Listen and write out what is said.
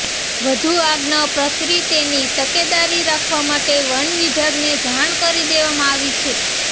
વધુ આગ ન પ્રસરી તેની તકેદારી રાખવા માટે વનવિભાગને જાણ કરી દેવામાં આવી છે